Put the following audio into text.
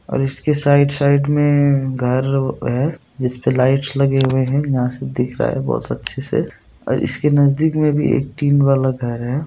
और इसकी side side में घर है जिसपे लाइट्स लगे हुए है यहाँ से दिख रहा है बहुत अच्छे से और इसके नजदीक में भी एक टीन वाला घर है।